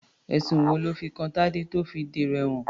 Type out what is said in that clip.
Ẹ̀sùn wo lọ́ fi kan Tadé tó fi dèrò ẹ̀wọ̀n?